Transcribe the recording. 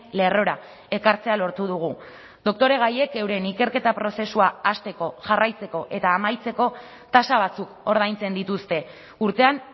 lerrora ekartzea lortu dugu doktoregaiek euren ikerketa prozesua hasteko jarraitzeko eta amaitzeko tasa batzuk ordaintzen dituzte urtean